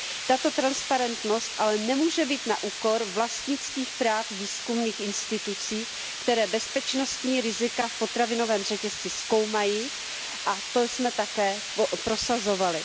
Tato transparentnost ale nemůže být na úkor vlastnických práv výzkumných institucí, které bezpečnostní rizika v potravinovém řetězci zkoumají, a to jsme také prosazovali.